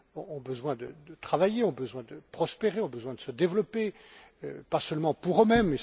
ont besoin de travailler, ont besoin de prospérer, ont besoin de se développer, pas seulement pour eux mêmes.